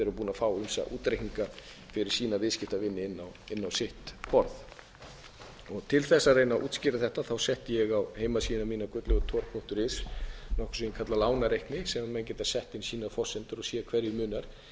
fá ýmsa útreikninga fyrir sína viðskiptavini inn á sitt borð til þess að reyna að útskýra þetta setti ég á heimasíðuna mína gudlaugurthor punktur is nokkuð sem ég kalla lánareikni sem menn geta sett sínar